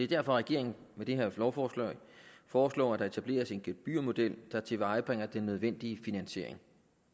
derfor regeringen med det her lovforslag foreslår at der etableres en gebyrmodel der tilvejebringer den nødvendige finansiering